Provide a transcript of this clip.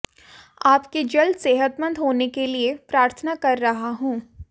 आपके जल्द सेहतमंद होने के लिए प्रार्थना कर रहा हूं